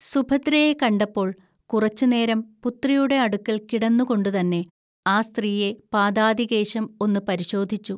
സുഭദ്രയെ കണ്ടപ്പോൾ കുറച്ചുനേരം പുത്രിയുടെ അടുക്കൽ കിടന്നുകൊണ്ടുതന്നെ ആ സ്ത്രീയെ പാദാദികേശം ഒന്നു പരിശോധിച്ചു